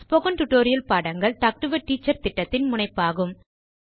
spoken tutorial பாடங்கள் talk to a teacher திட்டத்தின் முனைப்பாகும்